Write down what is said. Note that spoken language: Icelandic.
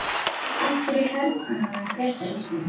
Af hverju hernámu Bretar Ísland?